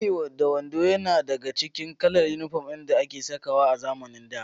Biri-da-wando yana daka cikin kalar inifom ɗin da ake sakawa a zamanin da